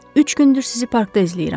Üç gündür sizi parkda izləyirəm.